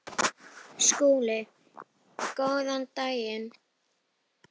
SKÚLI: Góðan daginn!